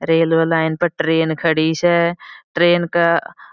railway line पर train खड़ी स ट्रैन का --